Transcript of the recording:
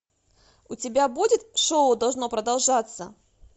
у тебя будет шоу должно продолжаться